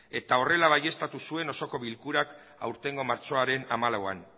eta horrela baieztatu zuen osoko bilkurak aurtengo martxoaren hamalauan